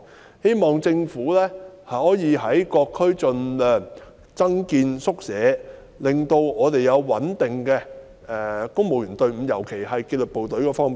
我希望政府可以在各區盡量增建宿舍，令我們有穩定的公務員隊伍，尤其是紀律部隊方面。